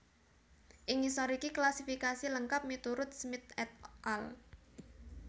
Ing ngisor iki klasifikasi lengkap miturut Smith et al